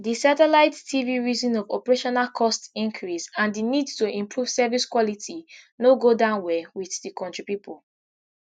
di satellite tv reason of operational costs increase and di need to improve service quality no go down well wit di kontri pipo